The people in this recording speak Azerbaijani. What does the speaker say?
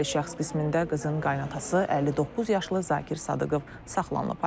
Şübhəli şəxs qismində qızın qayınatası 59 yaşlı Zakir Sadıqov saxlanılıb.